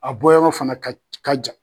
A bɔ yɔrɔ fana ka ka ja.